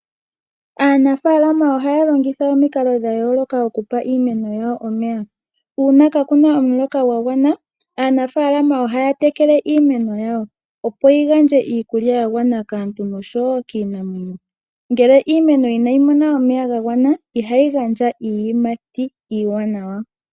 Aanafaalama ohaya longitha omikalo dha yooloka okupa iimeno yawo omeya. Uuna kaakuna omuloka gwagwana, aanafalama ohaya tekele iimeno yawo opo yi gandje iikulya ya gwana kaantu nosho wo kiinamwenyo. Ngele iimeno inayi mona omeya ga gwana, ihayi gandja iiyimati iiwanawa.